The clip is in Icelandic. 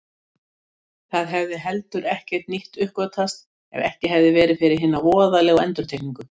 Það hefði heldur ekkert nýtt uppgötvast ef ekki hefði verið fyrir hina voðalegu endurtekningu.